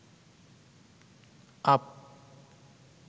up